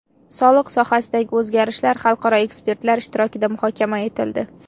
Soliq sohasidagi o‘zgarishlar xalqaro ekspertlar ishtirokida muhokama etildi.